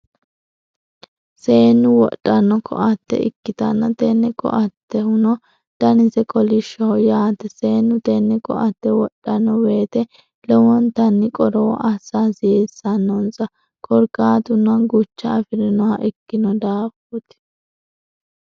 seenu wodhano koatte ikitanna tenne koattehuno dannise kolishoho yaate seennu tenne koatte wodhanno woyite lowontanni qorowo asa hasiisanonisa korikatunno gucha afirinnoha ikinno daafooti.